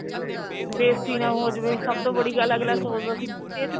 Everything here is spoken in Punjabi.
ਬੇਸਤੀ ਨਾ ਹੋ ਜਾਵੇ ਸਭ ਤੋਂ ਬੜੀ ਗੱਲ ਸੋਚਦਾ ਸੀ ਇਸ ਚ